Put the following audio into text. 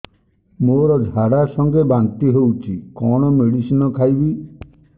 ମୋର ଝାଡା ସଂଗେ ବାନ୍ତି ହଉଚି କଣ ମେଡିସିନ ଖାଇବି